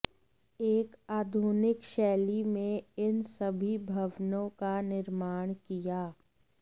एक आधुनिक शैली में इन सभी भवनों का निर्माण किया